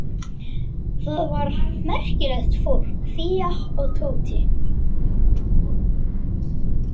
Það var merkilegt fólk Fía og Tóti.